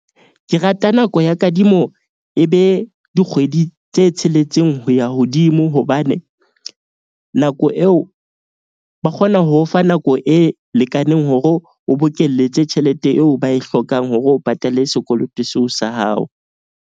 Ke rata nako ya kadimo, e be dikgwedi tse tsheletseng ho ya hodimo. Hobane nako eo ba kgona ho o fa nako e lekaneng hore o bokelletse tjhelete eo ba e hlokang hore o patale sekoloto seo sa hao.